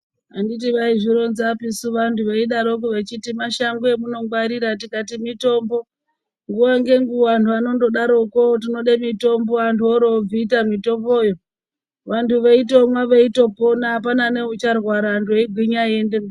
Handiti vaizvironzasu vantu veidarokwo vechiti mashango emunongwarira tikati mitombo. Nguwa ngenguwa anhu anondodaroko tinode mitombo antu orobvita mitomboyo vantu veitomwa veitopona apana neucharwara antu eigwinya eiende mberi.